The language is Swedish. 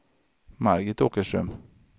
Margit Åkerström